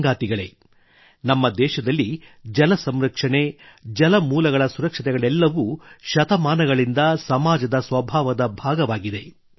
ಸಂಗಾತಿಗಳೇ ನಮ್ಮ ದೇಶದಲ್ಲಿ ಜಲ ಸಂರಕ್ಷಣೆ ಜಲಮೂಲಗಳ ಸುರಕ್ಷತೆಗಳೆಲ್ಲವೂ ಶತಮಾನಗಳಿಂದ ಸಮಾಜದ ಸ್ವಭಾವದ ಭಾಗವಾಗಿದೆ